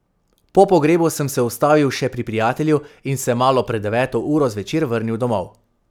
Po pogrebu sem se ustavil še pri prijatelju in se malo pred deveto uro zvečer vrnil domov.